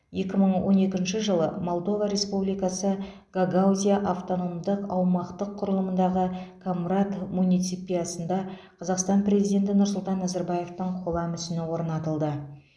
екі мың он екінші жылы молдова республикасы гагаузия автономдық аумақтық құрылымындағы комрат муниципиясында қазақстан президенті нұрсұлтан назарбаевтың қола мүсіні орнатылды